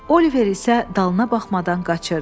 Oliver isə dalına baxmadan qaçırdı.